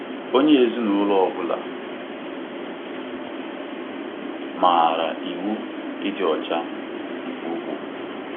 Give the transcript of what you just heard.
Onye ezinaụlọ ọ bụla maara iwu ịdị ọcha nke ugbo.